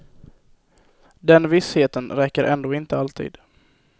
Den vissheten räcker ändå inte alltid.